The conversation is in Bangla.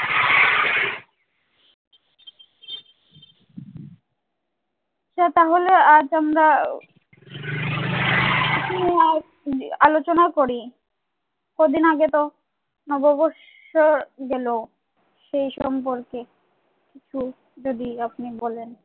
আচ্ছা তাহলে আজ আমরা snow white আলোচনা করি। কদিন আগে তো নববর্ষ গেল। সেই সম্পর্কে একটু যদি আপনি বলেন।